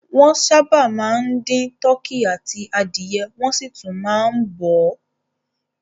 Wọ́n sábà máa ń dín tọkí àti adìẹ wọ́n sì tún máa ń bọ̀ ọ́.